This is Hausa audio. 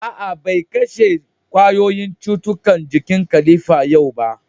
A'a, bai kashe ƙwayoyin cutukan jikin kilifan yau ba.